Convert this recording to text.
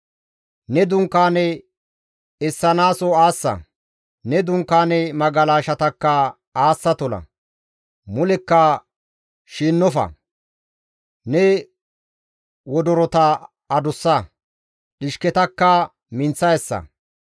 Ne dunkaane essanaaso aassa; ne dunkaane magalashatakka aassa tola; xuunththofa; ne wodorota adussa; dhishketakka minththa essa.